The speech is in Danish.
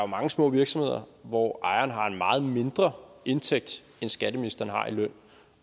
mange små virksomheder hvor ejeren har en meget mindre indtægt end skatteministeren har i løn